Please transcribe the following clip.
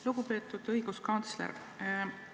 Lugupeetud õiguskantsler!